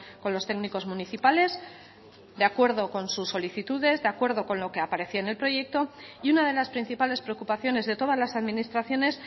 con los técnicos municipales de acuerdo con sus solicitudes de acuerdo con lo que aparecía en el proyecto y una de las principales preocupaciones de todas las administraciones